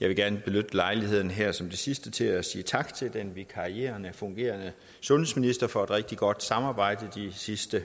jeg vil gerne benytte lejligheden her som det sidste til at sige tak til den vikarierende og fungerende sundhedsminister for at rigtig godt samarbejde de sidste